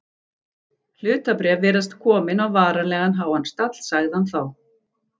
Hlutabréf virðast komin á varanlega háan stall sagði hann þá.